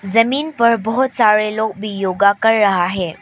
जमीन पर बहुत सारे लोग भी योगा कर रहा है।